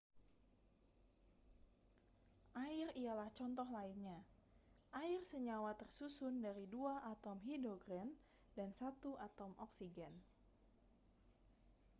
air ialah contoh lainnya air senyawa tersusun dari dua atom hidrogen dan satu atom oksigen